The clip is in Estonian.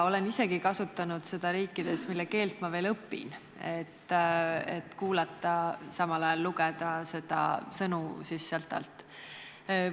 Olen isegi kasutanud seda riikides, mille keelt ma veel õpin, et kuulata ja samal ajal lugeda sealt alt sõnu.